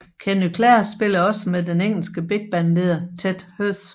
Kenny Clare spillede også med den engelske big band leder Ted Heath